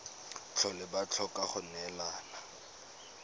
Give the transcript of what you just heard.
tlhole ba tlhoka go neelana